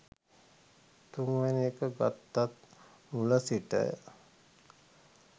තුන්වෙනි එක ගත්තත් මුල සිට